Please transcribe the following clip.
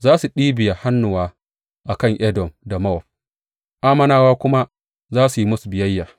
Za su ɗibiya hannuwa a kan Edom da Mowab, Ammonawa kuma za su yi musu biyayya.